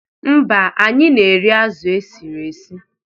Mba, anyị na-eri azụ e siri esi.